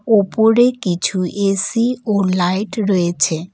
ওপরে কিছু এ_সি ও লাইট রয়েছে।